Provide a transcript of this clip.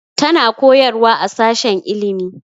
Tana koyarwa a sashen ilimi